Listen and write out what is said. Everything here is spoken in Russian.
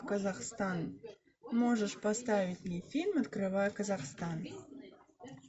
казахстан можешь поставить мне фильм открывая казахстан